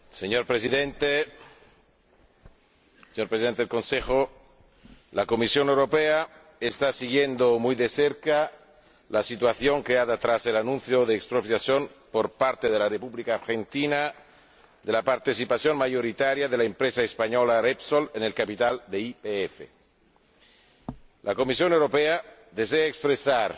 Señor Presidente, Señor Presidente en ejercicio del Consejo, la Comisión Europea está siguiendo muy de cerca la situación creada tras el anuncio de expropiación por parte de la República Argentina de la participación mayoritaria de la empresa española Repsol en el capital de YPF. La Comisión Europea desea expresar